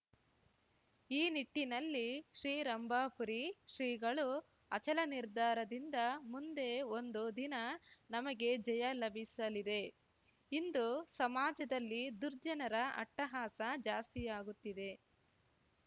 ಈ ನಿಟ್ಟಿನಲ್ಲಿ ಶ್ರೀ ರಂಭಾಪುರಿ ಶ್ರೀಗಳು ಅಚಲ ನಿರ್ಧಾರದಿಂದ ಮುಂದೆ ಒಂದು ದಿನ ನಮಗೆ ಜಯ ಲಭಿಸಲಿದೆ ಇಂದು ಸಮಾಜದಲ್ಲಿ ದುರ್ಜನರ ಅಟ್ಟಹಾಸ ಜಾಸ್ತಿಯಾಗುತ್ತಿದೆ